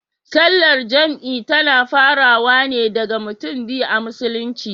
Sallar jam'i tana farawa wane da mutum biyu a musulunci.